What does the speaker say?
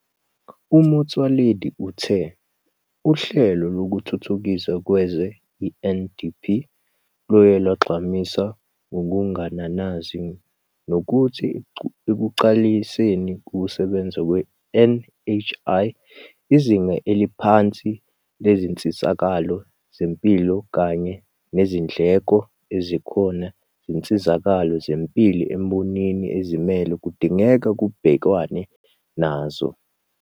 UMotsoaledi uthe Uhlelo Lokuthuthukiswa Kwezwe, i-NDP, luye lwayigqamisa ngokungananazi nokuthi ekuqaliseni ukusebenza kwe-NHI, izinga eliphansi lezinsizakalo zempilo kanye nezindleko ezikhona zezinsizakalo zempilo embonini ezimele kudingeka kubhekanwe nazo.